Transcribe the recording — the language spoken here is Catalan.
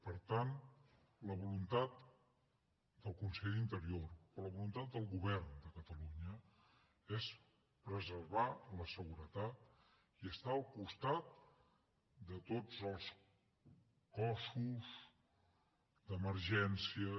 per tant la voluntat del conseller d’interior la voluntat del govern de catalunya és preservar la seguretat i estar al costat de tots els cossos d’emergències